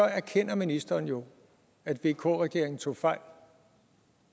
erkender ministeren jo at vk regeringen tog fejl